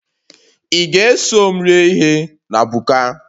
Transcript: Ị ga-eso m rie ihe na buka a?